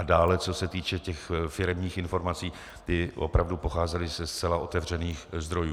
A dále, co se týče těch firemních informací, ty opravdu pocházely ze zcela otevřených zdrojů.